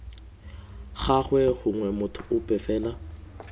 gagwe gongwe motho ope fela